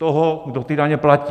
Toho, kdo ty daně platí.